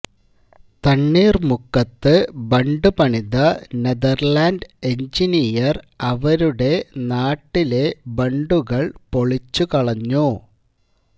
തണ്ണീർമുക്കത്ത് ബണ്ട് പണിത Netherland engineer അവരുടെ നാട്ടിലെ ബണ്ടുകൾ പൊളിച്ചുകളഞ്ഞു